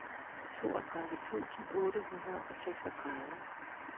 toogtredive tusind otte hundrede og seksogtredive